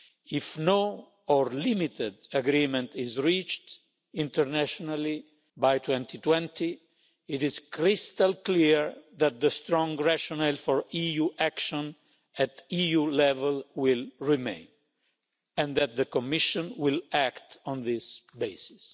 If no or limited agreement is reached internationally by 2020, it is crystal clear that the strong rationale for EU action at EU level will remain and that the Commission will act on this basis.